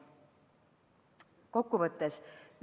Kokkuvõtteks.